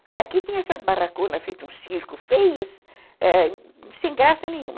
Porque aqui tinha essas barraconas feitas, um circo, feias, eh, sem graça nenhuma.